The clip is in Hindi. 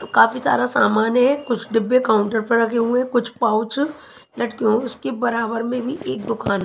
तो काफी सारा सामान है कुछ डिब्बे काउंटर पर रखे हुए हैं कुछ पाउच लटके हुए उसके बराबर में ही एक दुकान--